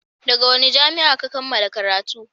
daga wani jami'a Ka kammala karatu?